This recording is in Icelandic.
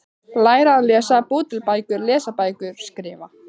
Læra að lesa- búa til bækur- lesa bækur- skrifa